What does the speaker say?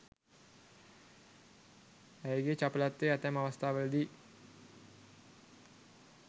ඇයගේ චපලත්වය ඇතැම් අවස්ථාවලදී